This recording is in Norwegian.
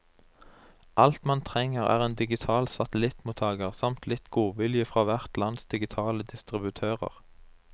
Alt man trenger er en digital satellittmottager, samt litt godvilje fra hvert lands digitale distributører.